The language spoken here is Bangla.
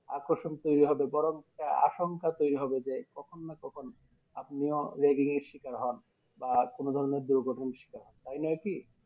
আকর্ষণ তৈরী হবে বরং আসংখ্যা তৈরী হবে যে কখন না কখন আপনিও Ragging এ শিকার হন বা কোনো ধরণের দুর্ঘটনার শিকার হন, তাই নয় কি?